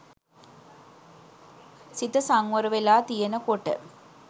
සිත සංවර වෙලා තියෙන කොට